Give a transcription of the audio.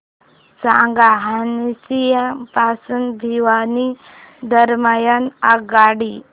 सांगा हान्सी पासून भिवानी दरम्यान आगगाडी